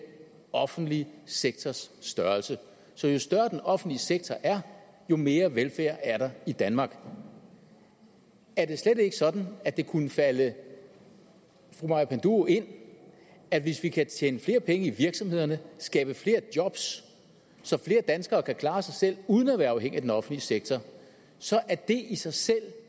offentlig sektors størrelse så jo større den offentlige sektor er jo mere velfærd er der i danmark er det slet ikke sådan at det kunne falde fru maja panduro ind at hvis vi kan tjene flere penge i virksomhederne skabe flere job så flere danskere kan klare sig selv uden at være afhængige af den offentlige sektor så er det i sig selv